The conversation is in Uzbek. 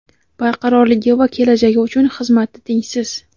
barqarorligi va kelajagi uchun xizmati tengsiz.